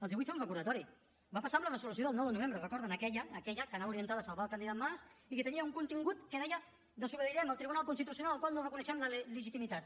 els vull fer un recordatori va passar amb la resolució del nou de novembre la recorden aquella que anava orientada a salvar el candidat mas i que tenia un contingut que deia desobeirem el tribunal constitucional del qual no reconeixem la legitimitat